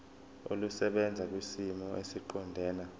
olusebenza kwisimo esiqondena